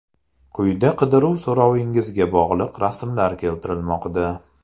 Quyida qidiruv so‘rovingizga bog‘liq rasmlar keltirilmoqda.